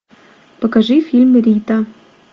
покажи фильм рита